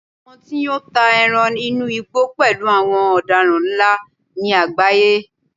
àwọn tí n yọ́ ta eran inú igbó pẹlú àwọn odaran nla ni agbaye